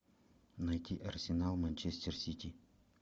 найти арсенал манчестер сити